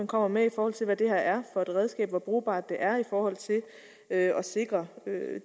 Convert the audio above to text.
kommer med i forhold til hvad det her er for et redskab altså hvor brugbart det er i forhold til at sikre